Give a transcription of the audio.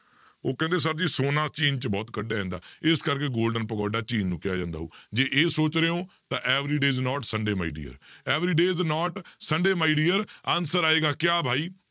ਉਹ ਕਹਿੰਦੇ sir ਜੀ ਸੋਨਾ ਚੀਨ 'ਚ ਬਹੁਤ ਕੱਢਿਆ ਜਾਂਦਾ ਇਸ ਕਰਕੇ golden ਪਗੋਡਾ ਚੀਨ ਨੂੰ ਹੀ ਕਿਹਾ ਜਾਂਦਾ ਹੋਊ, ਜੇ ਇਹ ਸੋਚ ਰਹੇ ਹੋ ਤਾਂ every day is not sunday my dear, every day is not sunday my dear, answer ਆਏਗਾ ਕਿਆ ਭਾਈ